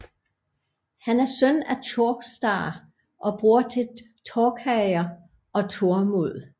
Han er søn af Tjórstar og bror til Torkeir og Tormod